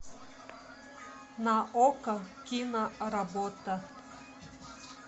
на окко киноработа